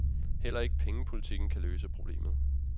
Heller ikke pengepolitikken kan løse problemet.